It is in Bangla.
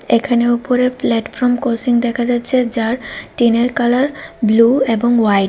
এখানে উপরে প্ল্যাটফর্ম কোচিং দেখা যাচ্ছে যার টিনের কালার ব্লু এবং হোয়াইট ।